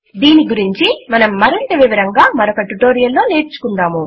దీని గురించి మనం మరింత వివరంగా మరొక ట్యుటోరియల్ లో నేర్చుకుందాము